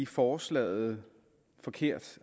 forslaget forkert